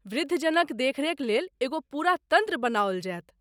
वृद्ध जनक देखरेख लेल एगो पूरा तन्त्र बनाओल जायत।